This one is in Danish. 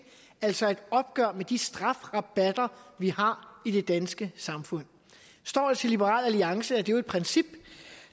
altså et opgør med de strafrabatter vi har i det danske samfund står det til liberal alliance er det jo et princip